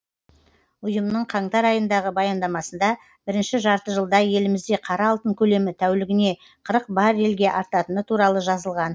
ұйымның қаңтар айындағы баяндамасында бірінші жарты жылда елімізде қара алтын көлемі тәулігіне қырық баррельге артатыны туралы жазылған